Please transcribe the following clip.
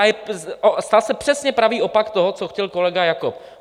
A stal se přesně pravý opak toho, co chtěl kolega Jakob.